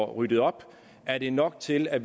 ryddet op er det nok til at